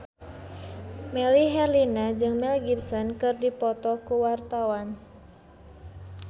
Melly Herlina jeung Mel Gibson keur dipoto ku wartawan